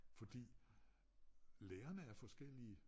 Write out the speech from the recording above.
Fordi lærerne er forskellige